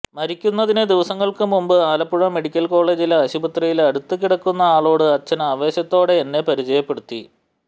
മരിക്കുന്നതിന് ദിവസങ്ങള്ക്കു മുന്പ് ആലപ്പുഴ മെഡിക്കല് കോളേജിലെ ആശുപത്രിയില് അടുത്ത് കിടക്കുന്ന ആളോട് അച്ചന് ആവേശത്തോടെ എന്നെ പരിചയപ്പെടുത്തി